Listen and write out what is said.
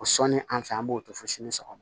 O sɔnni an fɛ an b'o to fo sini sɔgɔma